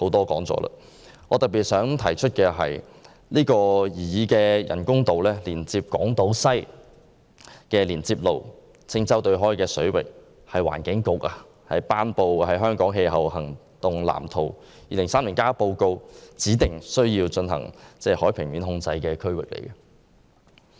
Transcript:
我想特別指出的是，擬議人工島連接港島西的連接路所在的青洲對開水域，是環境局發表的《香港氣候行動藍圖 2030+》報告指定需要進行海平面控制的區域。